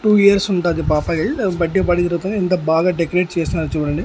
Two years ఉంటాది పాప ఎల్ బర్త్డే పార్టీ జరుగుతాంది ఎంత బాగా డెకరేట్ చేసినారు చూడండి.